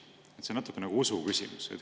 See on natukene nagu usu küsimus.